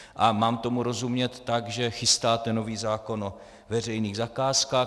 A mám tomu rozumět tak, že chystáte nový zákon o veřejných zakázkách?